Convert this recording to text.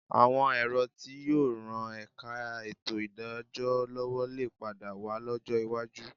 Àwọn ẹ̀rọ tí yóò ran ẹ̀ka ètò ìdájọ́ lọ́wọ́ lè padà wà lọ́jọ́ iwájú